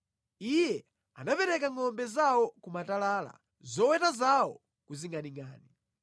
Iye anapereka ngʼombe zawo ku matalala, zoweta zawo ku zingʼaningʼani.